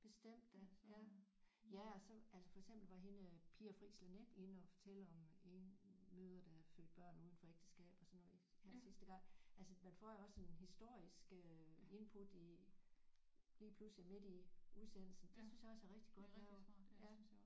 Bestemt da ja ja og så altså for eksempel var hende øh Pia Fris Laneth inde at fortælle om enemødre der har født børn uden for ægteskab og sådan noget her sidste gang altså man får jo også en historisk øh input i lige pludselig midt i udsendelsen det synes jeg også er rigtig godt lavet ja